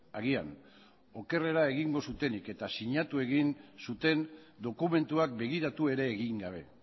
agian okerrera egingo zutenik eta sinatu egin zuten dokumentuak begiratu ere egin gabe